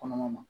Kɔlɔlɔ ma